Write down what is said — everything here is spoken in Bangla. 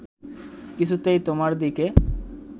কিছুতেই তোমার দিকে